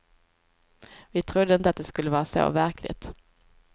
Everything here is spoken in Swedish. Vi trodde inte att det skulle vara så verkligt.